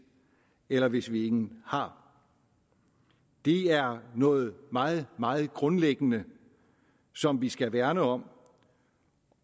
eller hvis vi ingen har det er noget meget meget grundlæggende som vi skal værne om